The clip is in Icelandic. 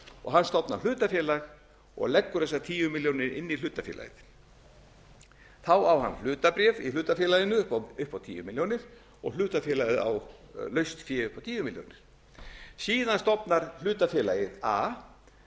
og hann stofnar hlutafélag og leggur þessar tíu milljónir inn í hlutafélagi þá á hann hlutabréf í hlutafélaginu upp á tíu milljónir og hlutafélagið á laust fé upp á tíu milljónir síðan stofnar hlutafélagið a